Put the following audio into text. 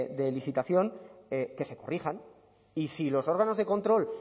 de licitación que se corrijan y si los órganos de control